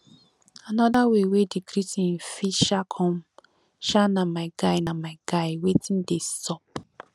anoda way wey di greeting fit um com um na my guy na my guy wetin dey sup